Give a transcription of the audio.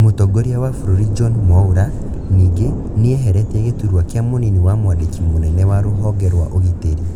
Mũtongoria wa bũrũri John Mwaura ningĩ nieheretie gĩturwa kĩa mũnini wa mwandĩki mũnene wa rũhonge rwa ũgitĩri.